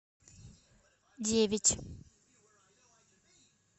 девять